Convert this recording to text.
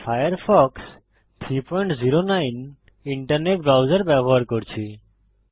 আমি Firefox 309 internet browser ব্যবহার করছি